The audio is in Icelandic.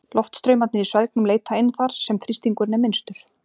Loftstraumarnir í svelgnum leita inn þar, sem þrýstingurinn er minnstur.